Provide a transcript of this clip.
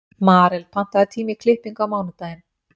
Marel, pantaðu tíma í klippingu á mánudaginn.